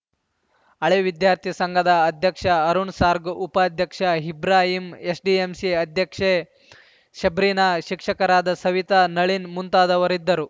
ಹಳೇ ವಿದ್ಯಾರ್ಥಿ ಸಂಘದ ಅಧ್ಯಕ್ಷ ಅರುಣ್‌ ಸಾರ್ಗ್ ಉಪಾಧ್ಯಕ್ಷ ಇಬ್ರಾಹಿಂ ಎಸ್‌ಡಿಎಂಸಿ ಅಧ್ಯಕ್ಷೆ ಶಬ್ರಿನ ಶಿಕ್ಷಕರಾದ ಸವಿತಾ ನಳಿನ್ ಮುಂತಾದವರಿದ್ದರು